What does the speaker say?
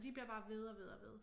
Og de bliver bare ved og ved og ved